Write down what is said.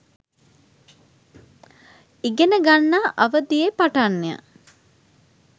ඉගෙන ගන්නා අවධියේ පටන්ය.